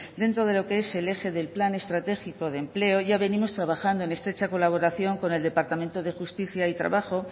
dentro de lo que es el eje del plan estratégico de empleo ya venimos trabajando en estrecha colaboración con el departamento de justicia y trabajo